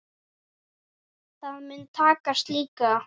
Það mun takast líka.